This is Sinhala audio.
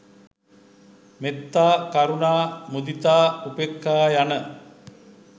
මෙත්තා, කරුණා, මුදිතා, උපෙක්‍ඛා, යන